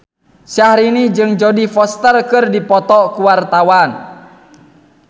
Syahrini jeung Jodie Foster keur dipoto ku wartawan